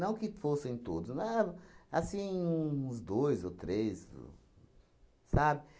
que fossem todos, né, assim, uns dois ou três, sabe?